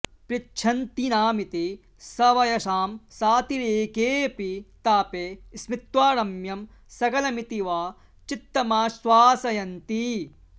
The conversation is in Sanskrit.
पृच्छन्तीनामिति सवयसां सातिरेकेऽपि तापे स्मित्वा रम्यं सकलमिति वा चित्तमाश्वासयन्ती